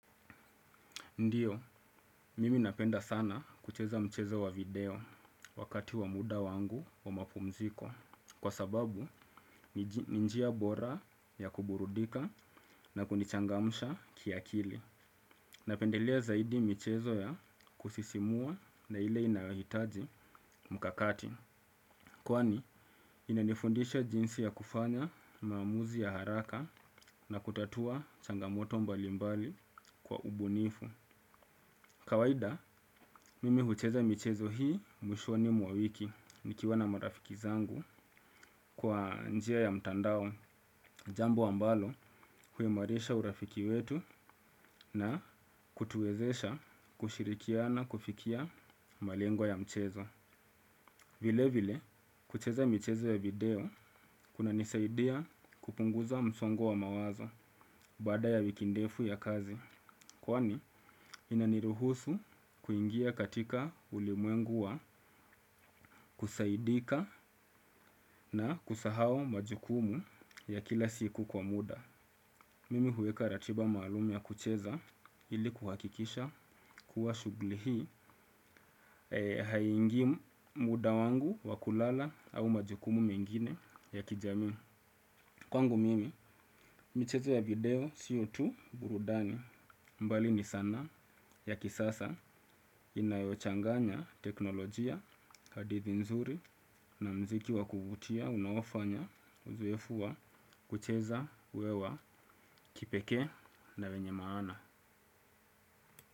Ndiyo, mimi napenda sana kucheza mchezo wa video wakati wa muda wangu wa mapumziko. Kwa sababu, ni njia bora ya kuburudika na kunichangamusha kiakili. Napendelea zaidi michezo ya kusisimua na ile inayohitaji mkakati. Kwani, inanifundisha jinsi ya kufanya maamuzi ya haraka na kutatua changamoto mbalimbali kwa ubunifu. Kawaida, mimi hucheza michezo hii mwishoni mwa wiki, nikiwa na marafiki zangu kwa njia ya mtandao, jambo ambalo huimarisha urafiki wetu na kutuwezesha kushirikiana kufikia malengo ya mchezo. Vile vile, kucheza michezo ya video, kunanisaidia kupunguza msongo wa mawazo baada ya wiki ndefu ya kazi. Kwani, inaniruhusu kuingia katika ulimwengua kusaidika na kusahau majukumu ya kila siku kwa muda. Mimi huweka ratiba maalumi ya kucheza ili kuhakikisha kuwa shuguli hii haingi muda wangu wakulala au majukumu mengine ya kijamii. Kwangu mimi, michezo ya video sio tu burudani mbali ni sanaa ya kisasa inayochanganya teknolojia, hadithi nzuri na mziki wa kuvutia, unaofanya, uzuefu wa, kucheza, uwe wa, kipeke na wenye maana.